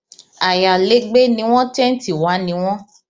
ayalégbé ni wọn tẹńtì wa ni wọn